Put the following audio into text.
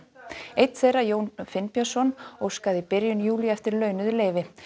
einn þeirra Jón Finnbjörnsson óskaði í byrjun júlí eftir launuðu leyfi